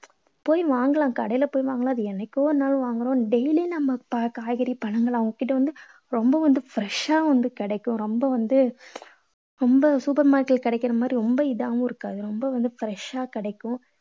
போய் வாங்கலாம். கடைல போய் வாங்கலாம். அது என்னைக்கோ ஒரு நாள் வாங்குறோம். daily நம்ம காய்கறி பழங்களா அவங்க கிட்ட வந்து ரொம்ப வந்து fresh ஷா வந்து கிடைக்கும். ரொம்ப வந்து ரொம்ப super market ல கிடைக்கற மாதிரி ரொம்ப இதாவும் இருக்காது. ரொம்ப வந்து fresh ஷா கிடைக்கும்